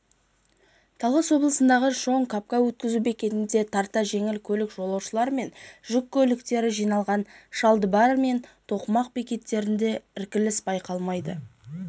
талас облысындағы чоң-капка өткізу бекетінде тарта жеңіл көлік жолаушылар және жүк көліктері жиналған чалдыбар және тоқмақ бекеттерінде іркіліс байқалмайды